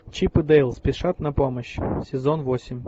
чип и дейл спешат на помощь сезон восемь